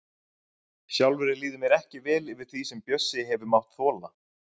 Sjálfri líður mér ekki vel yfir því sem Bjössi hefur mátt þola.